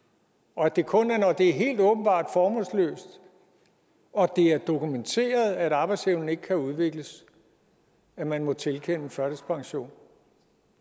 og at det kun er når det er helt åbenbart formålsløst og det er dokumenteret at arbejdsevnen ikke kan udvikles at man må tilkende førtidspension